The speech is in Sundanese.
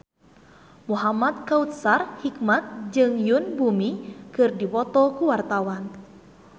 Muhamad Kautsar Hikmat jeung Yoon Bomi keur dipoto ku wartawan